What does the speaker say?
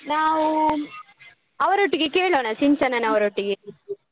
ನಾವೂ ಅವರೊಟ್ಟಿಗೆ ಕೇಳೋಣ ಸಿಂಚನನವರೊಟ್ಟಿಗೆ.